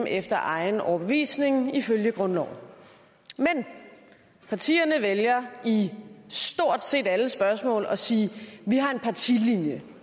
efter egen overbevisning ifølge grundloven men partierne vælger i stort set alle spørgsmål at sige vi har en partilinje